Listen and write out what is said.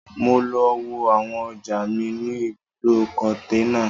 Mo lọ wo àwọn ọjà mi ní ibùdó-kòǹtẹ́nà